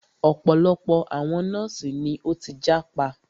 Ọ̀pọ̀lọpọ̀ àwọn nọ́ọ̀sì ni o tí jápa.